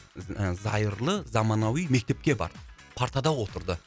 зайырлы заманауи мектепке барды партада отырды